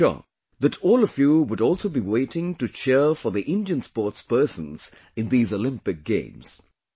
I am sure that all of you would also be waiting to cheer for the Indian sportspersons in these Olympic Games